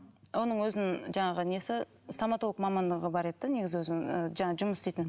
оның өзінің жаңағы несі стоматолог мамандығы бар еді де негізі өзінің ы жаңағы жұмыс істейтін